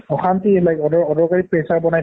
অশান্তি like অদৰকাৰী pressure বনাই